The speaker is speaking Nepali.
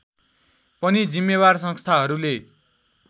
पनि जिम्मेवार संस्थाहरूले